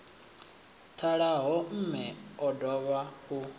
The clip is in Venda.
ṱalaho mme o dovha u